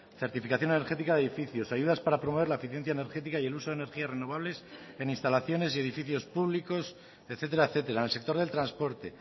certificación energética de edificios ayudas para promover la eficiencia energética y el uso de energías renovables en instalaciones y edificios públicos etcétera etcétera en el sector del transporte